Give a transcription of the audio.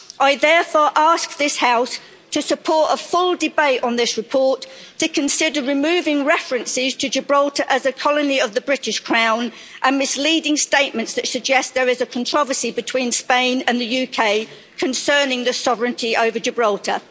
I therefore ask this House to support a full debate on this report to consider removing references to Gibraltar as a colony of the British Crown, and misleading statements that suggest there is a controversy between Spain and the UK concerning the sovereignty over Gibraltar.